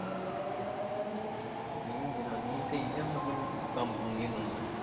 ਨਹੀਂ ਜਨਾਨੀ ਨੀ ਸਹੀ ਯਾ ਮਤਲਬ ਕੰਮ ਕੁਮ ਨੀ ਉਹਨੂੰ ਆਉਂਦਾ?